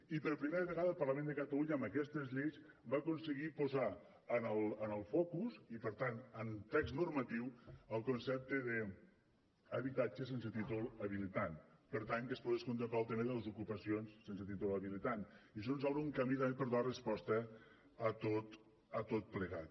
i per primera vegada el parlament de catalunya amb aquestes lleis va aconseguir posar en el focus i per tant en text normatiu el concepte d’habitatge sense títol habilitant per tant que es pogués contemplar el tema de les ocupacions sense títol habilitant i això ens obre un camí també per a donar resposta a tot plegat